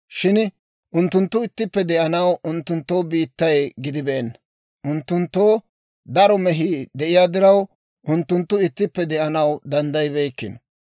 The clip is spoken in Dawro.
Shin unttunttu ittippe de'anaw unttunttoo biittay gidibeenna; unttunttoo daro mehii de'iyaa diraw, unttunttu ittippe de'anaw danddayibeykkino.